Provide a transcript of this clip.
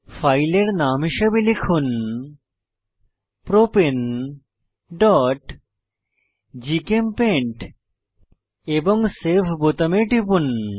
ফাইলের নাম হিসাবে লিখুন propaneজিচেমপেইন্ট এবং সেভ বোতামে টিপুন